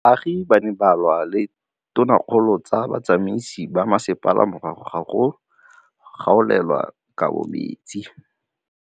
Baagi ba ne ba lwa le ditokolo tsa botsamaisi ba mmasepala morago ga go gaolelwa kabo metsi.